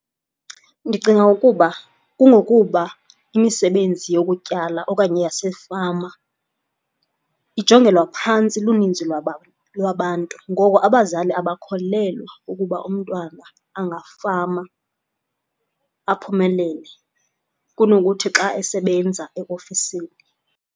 Ndicinga ukuba kungokuba imisebenzi yokutyala okanye yasefama ijongelwa phantsi luninzi lwabantu ngoko abazali abakholelwa ukuba umntwana angafama aphumelele kunokuthi xa esebenza eofisini.